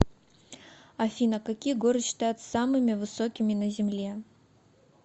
афина какие горы считаются самыми высокими на земле